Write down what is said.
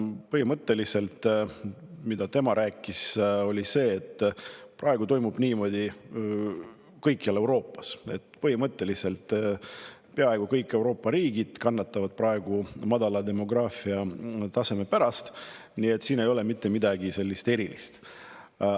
Põhimõtteliselt see jutt, mida tema rääkis, oli selline, et praegu toimub niimoodi kõikjal Euroopas, peaaegu kõik Euroopa riigid kannatavad praegu madala taseme pärast ja selles ei ole mitte midagi erilist.